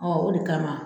o de kama